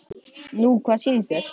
Nú hvað sýnist þér.